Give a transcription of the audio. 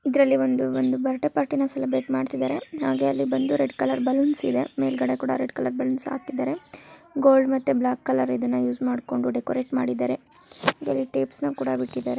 ಇದ್ರಲ್ಲಿ ಒಂದು ಬರ್ಡೆ ಪಾರ್ಟಿನ ಸೆಲೆಬ್ರೇಟ್ ಮಾಡ್ತಿದ್ದಾರೆ ಹಾಗೆ ಅಲ್ಲಿ ಬಂದು ರೆಡ್ ಕಲರ್ ಬಲೂನ್ಸ್ ಇದೆ ಮೇಲ್ಗಡೆ ಕೂಡ ರೆಡ್ ಕಲರ್ ಬಲೂನ್ಸ್ ಹಾಕಿದ್ದಾರೆ ಗೋಲ್ಡ್ ಮತ್ತೆ ಬ್ಲಾಕ್ ಕಲರ್ ಇದನ್ನು ಯೂಸ್ ಮಾಡ್ಕೊಂಡು ಡೆಕೋರೇಟ್ ಮಾಡಿದರೆ ಇದರಲ್ಲಿ ಟೇಪ್ಸ್ ನ ಕೂಡ ಬಿಟ್ಟಿದ್ದಾರೆ.